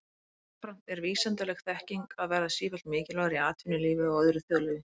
Jafnframt er vísindaleg þekking að verða sífellt mikilvægari í atvinnulífi og öðru þjóðlífi.